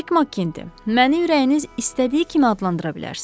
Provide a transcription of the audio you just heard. Jack Makkinte, məni ürəyiniz istədiyi kimi adlandıra bilərsiz.